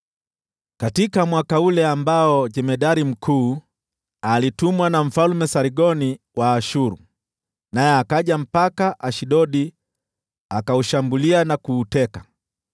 Katika mwaka ule ambao jemadari mkuu alitumwa na Mfalme Sargoni wa Ashuru, naye akaja mpaka Ashdodi, akaushambulia na kuuteka,